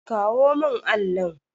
Kawo mun allin.